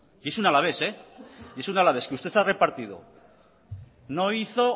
y es un alavés que usted ha repartido no hizo